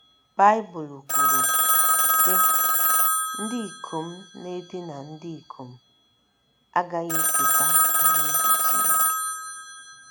Baịbụl kwuru, sị: “ Ndị ikom na - edina ndị ikom..... agaghị eketa alaeze Chineke. ”